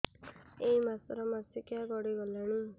ଏଇ ମାସ ର ମାସିକିଆ ଗଡି ଗଲାଣି